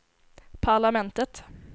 parlamentet